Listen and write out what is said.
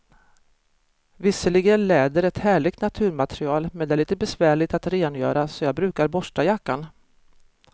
Visserligen är läder ett härligt naturmaterial, men det är lite besvärligt att rengöra, så jag brukar borsta jackan.